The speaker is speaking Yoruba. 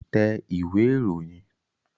Tẹ ìwé ìròyìn